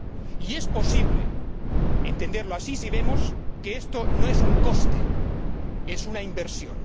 Y es posible entenderlo así si vemos que esto no es un coste, sino que es una inversión.